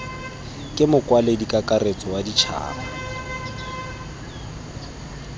ke mokwaledi kakaretso wa ditšhaba